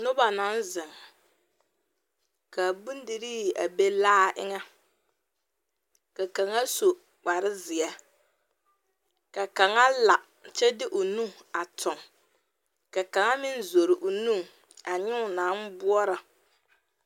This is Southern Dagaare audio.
Noba naŋ zeŋ ka bondirii a be laa eŋɛ ka kaŋa su kparezeɛ ka kaŋa la kyɛ de o nu a tuŋ ka kaŋa meŋ zore o nu a nyɛ o naŋ boɔra